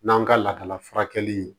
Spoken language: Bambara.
N'an ka lakala furakɛli